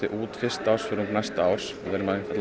út fyrsta ársfjórðung næsta árs við